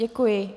Děkuji.